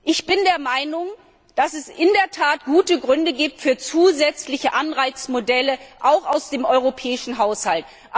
Ich bin der Meinung, dass es in der Tat gute Gründe für zusätzliche Anreizmodelle gibt, auch aus dem Europäischen Haushalt.